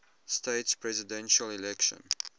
states presidential election